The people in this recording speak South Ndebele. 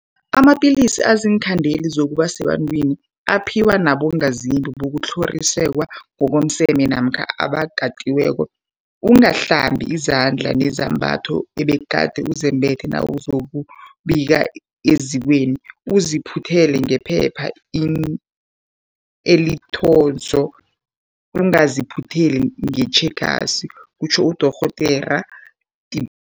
Amapilisi aziinkhandeli zokuba sebantwini aphiwa abongazimbi bokutlhoriswa ngokomseme namkha abakatiweko. Ungahlambi izandla nezembatho obegade uzembethe nawuzokubika ezikweni, uziphuthele ngephepha elinzotho, ungaziphutheli ngetjhegasi, kutjho uDorhodere Tipoy.